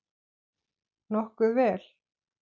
Nokkuð vel.